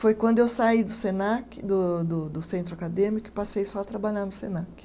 Foi quando eu saí do Senac, do do do centro acadêmico, e passei só a trabalhar no Senac.